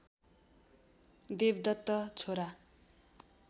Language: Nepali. देवदत्त छोरा